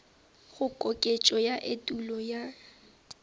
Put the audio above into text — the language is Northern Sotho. go koketšo ya etulo ye